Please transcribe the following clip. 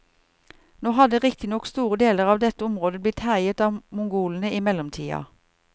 Nå hadde riktignok store deler av dette området blitt herjet av mongolene i mellomtida.